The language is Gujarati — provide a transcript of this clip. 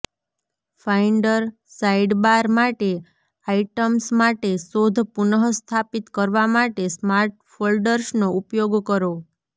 ફાઇન્ડર સાઇડબાર માટે આઇટમ્સ માટે શોધ પુનઃસ્થાપિત કરવા માટે સ્માર્ટ ફોલ્ડર્સનો ઉપયોગ કરો